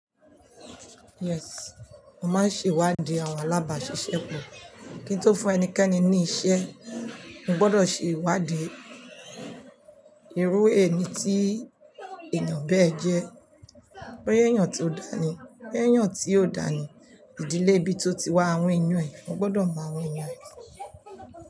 Yes, a máa ń ṣe ìwádìí àwọn alábàáṣiṣẹ́ pọ̀. Kí n tó fún ẹnikẹ́ni ní iṣẹ́, mo gbọ́dọ̀ ṣe ìwádìí ìrú ẹni tí èèyàn bẹ́ẹ̀ jẹ́. Boya èèyàn tó dání, boya èèyàn tí ó dàní, ìdílé ibí ti oti wá àwọn eyan ẹ, mo gbọ́dọ̀ mọ àwọn eyan ẹ.